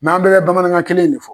an bɛɛ bɛ bamanankan kelen in de fɔ.